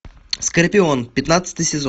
скорпион пятнадцатый сезон